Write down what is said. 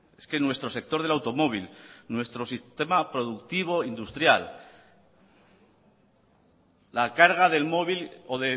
es que nuestro sector del automóvil nuestro sistema productivo industrial la carga del móvil o